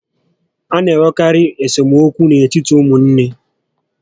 A na enwekarị esemokwu n'etiti ụmụnne